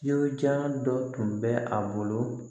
Yirijalan dɔ tun bɛ a bolo